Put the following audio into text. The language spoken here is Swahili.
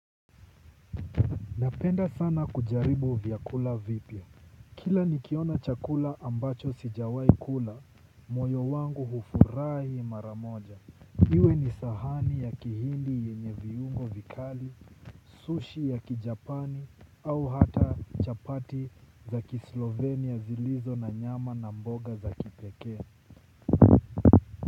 Napenda sana kujaribu vyakula vipya. Kila nikiona chakula ambacho sijawahi kula, moyo wangu hufurahi mara moja. Iwe ni sahani ya Kihindi yenye viungo vikali, sushi ya Kijapani au hata chapati za kislovenia zilizo na nyama na mboga za kipekee.